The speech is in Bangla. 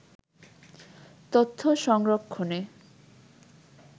তথ্য সংরক্ষনে